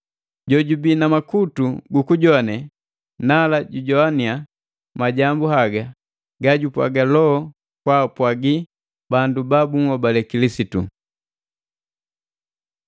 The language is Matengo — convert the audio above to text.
“Jojubi na makutu gu kujowane, nala jujowania majambu haga ga jupwaga Loho kwaapwagi bandu ba bunhobale Kilisitu!”